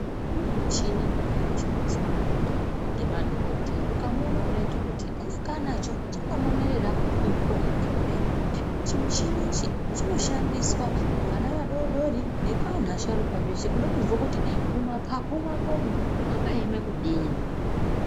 Kune muchini inonyanye kushandiswa maningi ngemadhokodheya ukamuona kudayi dhokodheya unenge anacho chakamonorerwa muhuro mwake kudai chimuchini ichi chinoshandiswa kuvana vadodori nekuasharuka zveshe kude kuziye kuti mumapapu mwakomeo mwakaeme kudini.